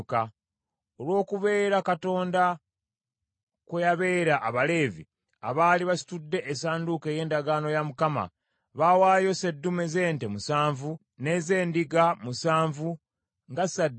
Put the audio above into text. Olw’okubeera Katonda kwe yabeera Abaleevi abaali basitudde essanduuko ey’endagaano ya Mukama , baawaayo sseddume z’ente musanvu ne z’endiga musanvu nga ssaddaaka.